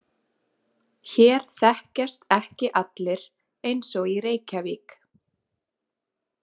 Hér þekkjast ekki allir eins og í Reykjavík.